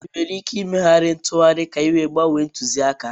Ị nwere ike ịmegharị ntụgharị ka ị gbanwee ntụzịaka?